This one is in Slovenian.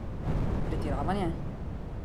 Pretiravanje?